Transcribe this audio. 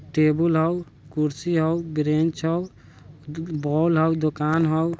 टेबुल हाउ कुर्सी हाउ ब्रेंच हाउ बॉल हाउ दुकान हाउ|